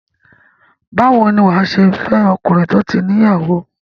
Báwo ni wà á ṣe máa fẹ́ ọkùnrin tó ti ní ìyàwó?